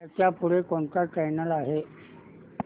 ह्याच्या पुढे कोणता चॅनल आहे